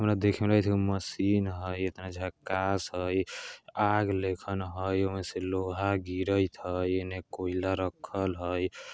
ओना देखे में लगई छई मशीन हई इतना जकक्कआस हई आग लेखन हई ओमें से लोहा गिरयित हई इने कोइला रखल हई ।